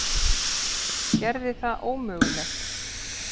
Gerði það ómögulegt.